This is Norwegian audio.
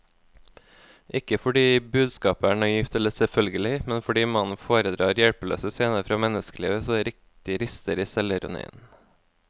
Ikke fordi budskapet er naivt eller selvfølgelig, men fordi mannen foredrar hjelpeløse scener fra menneskelivet så det riktig ryster i selvironien.